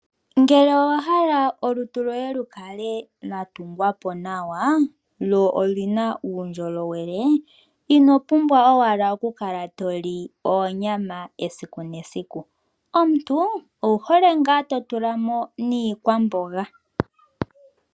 Ngele owa hala olutu lwoye lukale lwa tungwa po lwo oluna uundjolowele ino pumbwa owala okukala toli oonyama esiku nesiku. Omuntu owu hole ngaa totula mo niikwamboga.